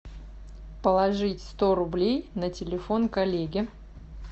положить сто рублей на телефон коллеге